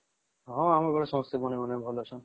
ହଁ ଆମ ଘରେ ସମସ୍ତେ ଭଲ ଅଛନ୍ତି